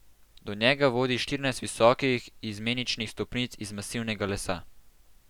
Do njega vodi štirinajst visokih, izmeničnih stopnic iz masivnega lesa.